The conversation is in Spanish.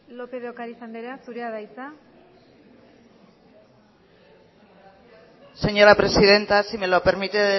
lópez de ocariz andrea zurea da hitza señora presidenta si me lo permite